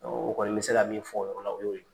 o kɔni bɛ se ka min fɔ o yɔrɔ la o y'o ye.